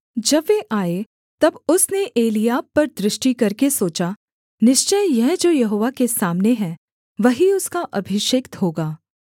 जब वे आए तब उसने एलीआब पर दृष्टि करके सोचा निश्चय यह जो यहोवा के सामने है वही उसका अभिषिक्त होगा